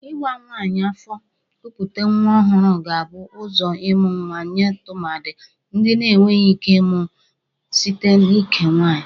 Ịwa nwaanyị afọ kupute nwa ọhụrụ ga-abụ ụzọ ịmụ nwa nye tụmadị ndị na-eweghi ike ịmụ site n'ike nwaanyị.